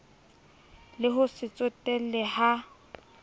le ho se tsotelle ha